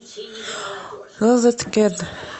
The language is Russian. розеткед